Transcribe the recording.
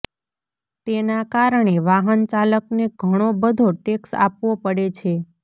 તેના કારણે વાહનચાલકને ઘણો બધો ટેક્સ આપવો પડે છે